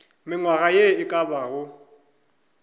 mengwaga ye e ka bago